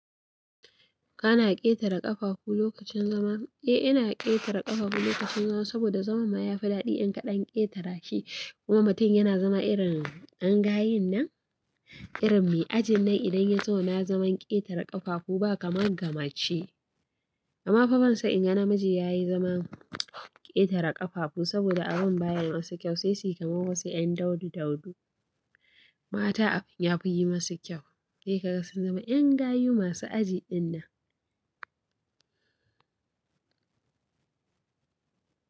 Kana ƙetare ƙafafu lokacin zama? Eh, ina ƙetare ƙafafu lokacin zama saboda zaman ma ya fi daɗi in ka ɗan ƙetara shi. Kuma mutum yana zama irin ƴan gayun nan, irin me ajin nan idan ya zo na zaman ƙetare ƙafafu ba kamar ga mace. Amma fa ban san in ga namiji ya yi zaman ƙetare ƙafafu saboda abun baya yi masu kyau, sai si kama wasu ƴan daudu- daudu. Mata abin ya fi yi masu kyau. Sai kaga sun zama ƴan gayu masu aji ɗin nan.